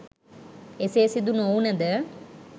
එසේ සිදු නොවුනද